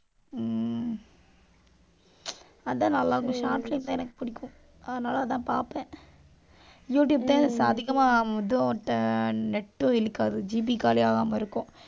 ஹம் அதான், நல்லா இருக்கும். short film தான் எனக்கு பிடிக்கும். அதனால, அதான் பார்ப்பேன் யூடியூப் தான் அதிகமா இதோட net உம் இழுக்காது. GB காலி ஆகாம இருக்கும்.